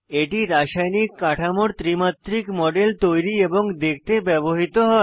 এটি রাসায়নিক কাঠামোর ত্রি মাত্রিক মডেল তৈরি এবং দেখতে ব্যবহৃত হয়